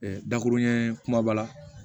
dakuruɲɛ kumaba la